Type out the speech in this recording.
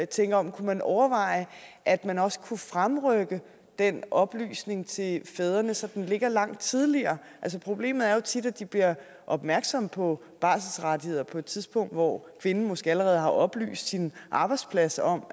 tænker om kunne man overveje at man også kunne fremrykke den oplysning til fædrene så den ligge langt tidligere problemet er jo tit at de bliver opmærksomme på barselsrettigheder på et tidspunkt hvor kvinden måske allerede har oplyst sin arbejdsplads om